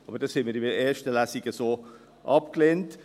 Aber dies lehnten wir in der ersten Lesung so ab.